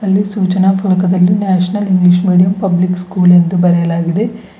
ಅಲ್ಲಿ ಸೂಚನಾ ಫಲಕದಲ್ಲಿ national English medium public school ಎಂದು ಬರೆಯಲಾಗಿದೆ.